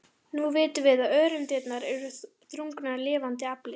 Nú vitum við að öreindirnar eru þrungnar lifandi afli.